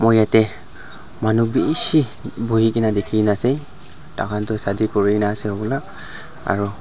yatae manu bishi buhikaena dikhi na ase tahan tu shadi kurina ase ola aru--